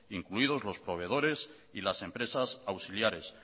incluidos los proveedores y las empresas auxiliares